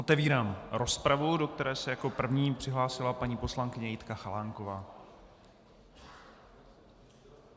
Otevírám rozpravu, do které se jako první přihlásila paní poslankyně Jitka Chalánková.